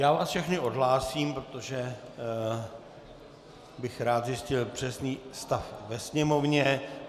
Já vás všechny odhlásím, protože bych rád zjistil přesný stav ve sněmovně.